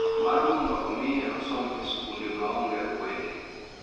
Mar mondo omiye osom e skunde maonge akwede